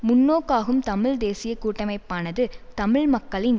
முன்நோக்காகும் தமிழ் தேசிய கூட்டமைப்பானது தமிழ் மக்களின்